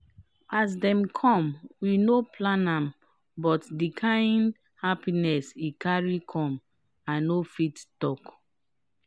as dem come we no plan am but di kind happiness e carry come i no fit talk.